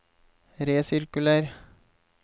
resirkuler